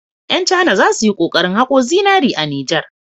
Ƴan cana za su yi kokarin haƙo zinari a Nijar.